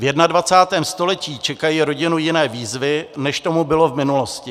V 21. století čekají rodinu jiné výzvy, než tomu bylo v minulosti.